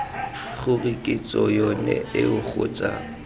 gore kitso yone eo kgotsa